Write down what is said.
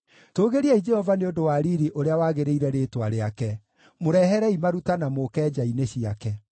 Tũũgĩriai Jehova nĩ ũndũ wa riiri ũrĩa wagĩrĩire rĩĩtwa rĩake; mũreherei maruta na mũũke nja-inĩ ciake.